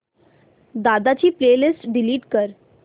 दादा ची playlist delete कर